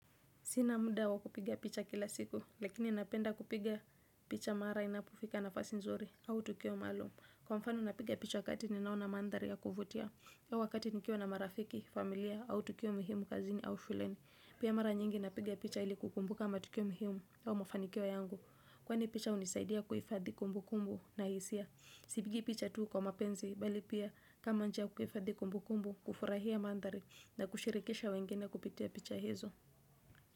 Sina muda wa kupiga picha kila siku, lakini napenda kupiga picha mara inapofika nafasi nzuri, au tukio maalum. Kwa mfano napiga picha wakati ninaona mandhari ya kuvutia. Au wakati nikiwa na marafiki, familia, au tukio muhimu kazini, au shuleni. Pia mara nyingi napiga picha ili kukumbuka matukio muhimu, au mafanikio yangu. Kwani picha hunisaidia kuhifadhi kumbukumbu na hisia. Sipigi picha tu kwa mapenzi, bali pia kama njia ya kuhifadhi kumbukumbu, kufurahia mandhari na kushirikisha wengine kupitia picha hizo.